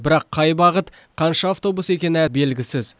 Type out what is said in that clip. бірақ қай бағыт қанша автобус екені белгісіз